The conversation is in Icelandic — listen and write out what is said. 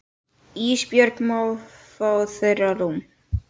Ísbjörg má fá þeirra rúm.